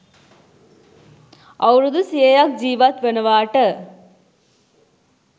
අවුරුදු සියයක් ජීවත් වනවාට